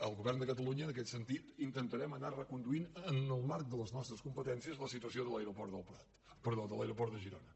el govern de catalunya en aquest sentit intentarem anar reconduint en el marc de les nostres competèn·cies la situació de l’aeroport de girona